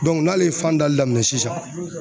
n'ale ye fan dali daminɛn sisan